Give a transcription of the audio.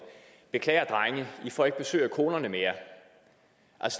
beklager drenge i får ikke besøg af konerne mere